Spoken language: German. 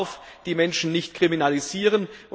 Man darf die Menschen nicht kriminalisieren.